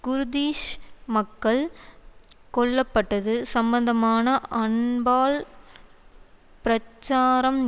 Kurdish மக்கள் கொல்ல பட்டது சம்பந்தமான அன்பால் பிரச்சாரம்